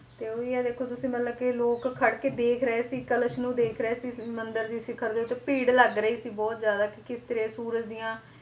ਤੇ ਉਹੀ ਹੈ ਦੇਖੋ ਤੁਸੀਂ ਮਤਲਬ ਕਿ ਲੋਕ ਖੜ ਕੇ ਦੇਖ ਰਹੇ ਸੀ ਕਲਸ਼ ਨੂੰ ਦੇਖ ਰਹੇ ਸੀ ਮੰਦਿਰ ਦੇ ਸਿਖ਼ਰ ਦੇ ਉੱਤੇ, ਭੀੜ ਲੱਗ ਰਹੀ ਸੀ ਬਹੁਤ ਜ਼ਿਆਦਾ ਕਿ ਕਿਸ ਤਰ੍ਹਾਂ ਸੂਰਜ ਦੀਆਂ